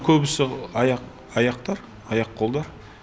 көбісі аяқ аяқтар аяқ қолдар